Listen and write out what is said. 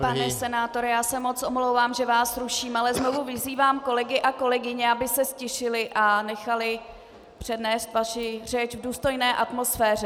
Pane senátore, já se moc omlouvám, že vás ruším, ale znovu vyzývám kolegy a kolegyně, aby se ztišili a nechali přednést vaši řeč v důstojné atmosféře.